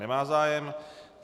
Nemá zájem.